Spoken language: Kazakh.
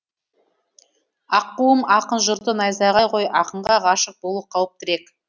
аққуым ақын жұрты найзағай ғой ақынға ғашық болу қауіптірек